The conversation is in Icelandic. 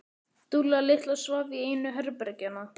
Dúlla litla svaf í einu herbergjanna.